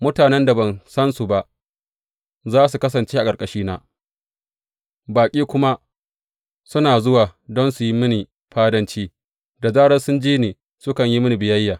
Mutanen da ban sansu ba za su kasance a ƙarƙashina, baƙi kuma su na zuwa don su yi mini fadanci; da zarar sun ji ni, sukan yi mini biyayya.